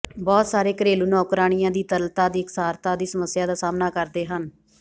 ਬਹੁਤ ਸਾਰੇ ਘਰੇਲੂ ਨੌਕਰਾਣੀਆਂ ਦੀ ਤਰਲਤਾ ਦੀ ਇਕਸਾਰਤਾ ਦੀ ਸਮੱਸਿਆ ਦਾ ਸਾਹਮਣਾ ਕਰਦੇ ਹਨ